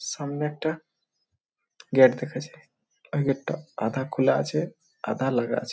সামনে একটা গেট দেখা যায়। ওই গেট -টা আধা খুলা আছে আধা লাগা আছে।